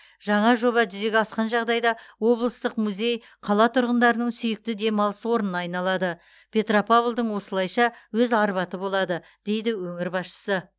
жаңа жоба жүзеге асқан жағдайда облыстық музей қала тұрғындарының сүйікті демалыс орнына айналады петропавлдың осылайша өз арбаты болады дейді өңір басшысы